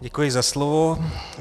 Děkuji za slovo.